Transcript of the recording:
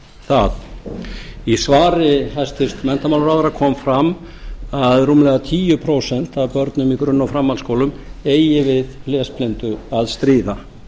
það í svari hæstvirts menntamálaráðherra kom fram að rúmlega tíu prósent af börnum í grunn og framhaldsskólum eigi við lesblindu að stríða